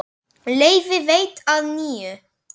Leyfi veitt að nýju